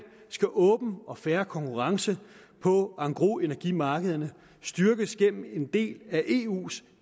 skal åben og fair konkurrence på engrosenergimarkederne styrkes gennem en del af eus